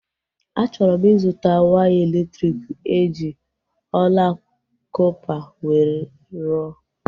A chọrọ m ịzụta waya elektriki eji ọla kọpa wee rụọ